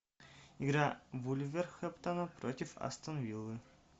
игра вулверхэмптона против астон виллы